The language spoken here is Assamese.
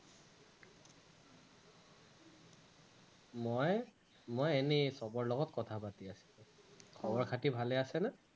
মই, মই এনেই সৱৰ লগত কথা পাতি আছিলো, খবৰ খাতি ভালে আছেনে?